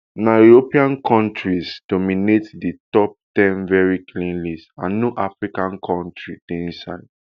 na european kontris dominate di top ten veri clean list and no african kontri dey inside